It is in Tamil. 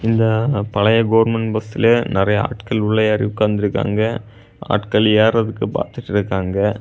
இங்க பழைய கவர்ன்மென்ட் பஸ்லியே நறைய ஆட்கள் உள்ள ஏரி உக்காந்து இருக்காங்க. ஆட்கள் ஏறத்துக்கு பாத்துட்டு இருக்காங்க.